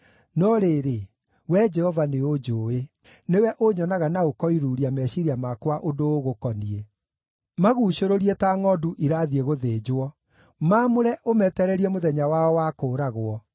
No rĩrĩ, Wee Jehova nĩũnjũũĩ; nĩwe ũnyonaga na ũkoiruuria meciiria makwa ũndũ ũgũkoniĩ. Maguucũrũrie ta ngʼondu irathiĩ gũthĩnjwo! Maamũre ũmetererie mũthenya wao wa kũũragwo!